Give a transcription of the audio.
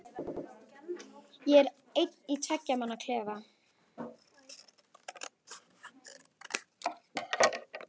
Ég er einn í tveggja manna klefa.